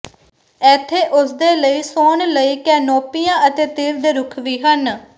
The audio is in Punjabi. ਇੱਥੇ ਉਸਦੇ ਲਈ ਸੌਣ ਲਈ ਕੈਨੋਪੀਆਂ ਅਤੇ ਤੀਰ ਦੇ ਰੁੱਖ ਵੀ ਹਨ